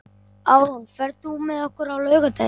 Árún, ferð þú með okkur á laugardaginn?